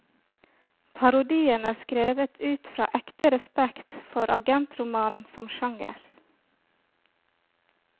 Parodien er skrevet ut fra ekte respekt for agentromanen som sjanger.